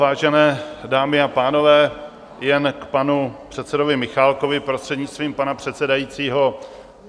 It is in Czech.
Vážené dámy a pánové, jen k panu předsedovi Michálkovi, prostřednictvím pana předsedajícího.